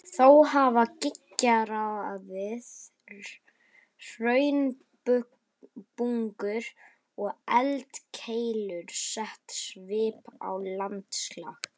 Þó hafa gígaraðir, hraunbungur og eldkeilur sett svip á landslag.